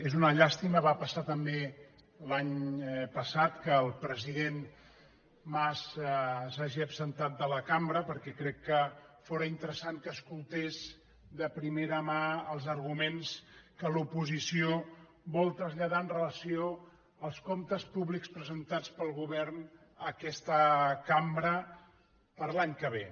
és una llàstima va passar també l’any passat que el president mas s’ha·gi absentat de la cambra perquè crec que fóra inte·ressant que escoltés de primera mà els arguments que l’oposició vol traslladar amb relació als comptes pú·blics presentats pel govern a aquesta cambra per a l’any que ve